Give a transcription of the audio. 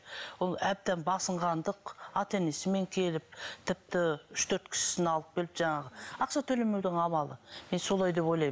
ол әбден басынғандық ата енесімен келіп тіпті үш төрт кісісін алып келіп жаңағы ақша төлемеудің амалы мен солай деп ойлаймын